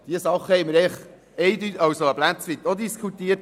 Dieses Thema haben wir ein Stück weit auch diskutiert.